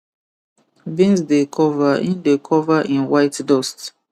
beans dey cover in dey cover in white dust